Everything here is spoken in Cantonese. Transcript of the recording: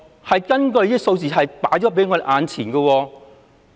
相關數字就放在我們眼前。